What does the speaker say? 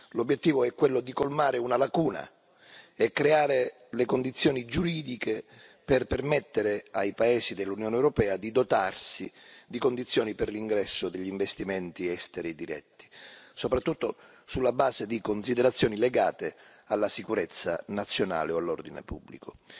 L'obiettivo è quello di colmare una lacuna e creare le condizioni giuridiche per permettere ai paesi dell'Unione europea di dotarsi di condizioni per l'ingresso degli investimenti esteri diretti, soprattutto sulla base di considerazioni legate alla sicurezza nazionale o all'ordine pubblico.